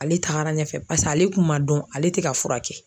Ale tagara ɲɛfɛ paseke ale kun man dɔn ale te ka furakɛ